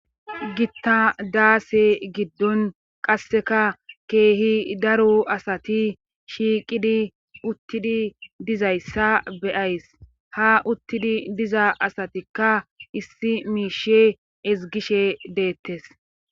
gitta daase giddon qasseka keehi daro asati shiiqidi uttidi dizayssa beyays ha uttidi diza asatikka issi miishe ezgishe deettes